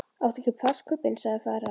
Éttu ekki plastkubbinn, sagði faðir hans.